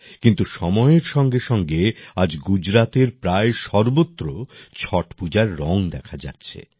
কিন্তু সময়ের সঙ্গেসঙ্গে আজ গুজরাতের প্রায় সর্বত্র ছট পূজার রং দেখা যাচ্ছে